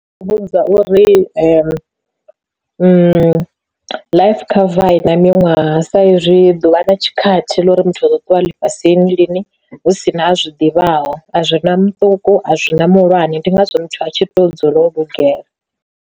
U vhudza uri life cover a ina miṅwaha sa izwi ḓuvha na tshikhathi ḽa uri muthu a ḓo ṱuwa ḽifhasini lini hu si na a zwi ḓivhaho a zwi na muṱuku a zwina muhulwane ndi ngazwo muthu a tshi to dzula o lugela.